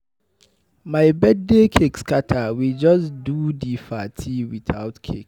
My birthday cake scatter, we just do di party without cake.